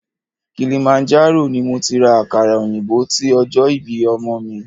Kilimanjaro ni mo ti ra àkàrà òyìnbó ti ọjọ́ ìbí ọmọ mi.